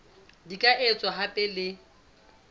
di ka etswa hape le